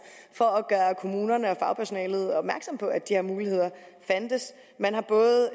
for at gøre kommunerne og fagpersonalet opmærksom på at de her muligheder fandtes man har både